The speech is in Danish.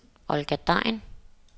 Olga Degn